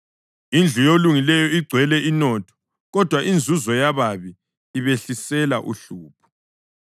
Indlu yolungileyo igcwele inotho, kodwa inzuzo yababi ibehlisela uhlupho.